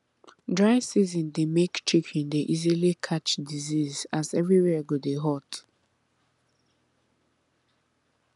dry season dey make chicken dey easily catch disease as everywhere go dey hot